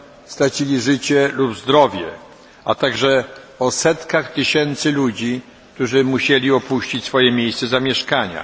stracili zdrowie lub nawet życie, a także setki tysięcy ludzi, którzy musieli opuścić swoje miejsce zamieszkania.